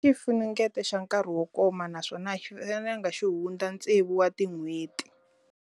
Xifunengeto xa nkarhi wo koma naswona a xi fanelanga xi hundza tsevu wa tin'hweti.